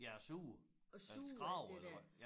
Ja og suger eller skraber eller hvad